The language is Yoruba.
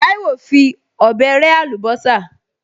Táíwò fi ọ̀bẹ rẹ́ àlùbọ́sà